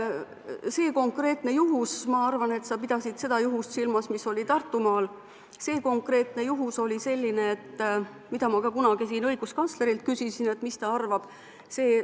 See konkreetne juhtum – ma arvan, et sa pidasid silmas seda juhtumit, mis oli Tartumaal –, oli selline, mille kohta ma ka kunagi siin õiguskantslerilt küsisin, mis ta arvab.